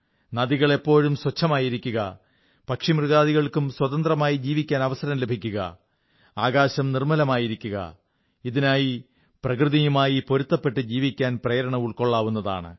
നദികൾ എപ്പോഴും സ്വച്ഛമായിരിക്കുക പക്ഷിമൃഗാദികൾക്കും സ്വതന്ത്രമായി ജീവിക്കാൻ അവസരം ലഭിക്കുക ആകാശവും നിർമ്മലമായിരിക്കുക ഇതിനായി പ്രകൃതിയുമായി പൊരുത്തപ്പെട്ട് ജീവിക്കാൻ പ്രേരണ ഉൾക്കൊള്ളാവുന്നതാണ്